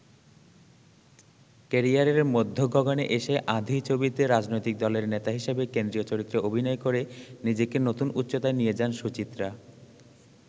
ক্যারিয়ারের মধ্যগগণে এসে ‘আঁধি’ ছবিতে রাজনৈতিক দলের নেতা হিসেবে কেন্দ্রীয় চরিত্রে অভিনয় করে নিজেকে নতুন উচ্চতায় নিয়ে যান সুচিত্রা।